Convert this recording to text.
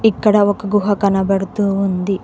ఇక్కడ ఒక గుహ కనబడుతూ ఉంది.